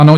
Ano.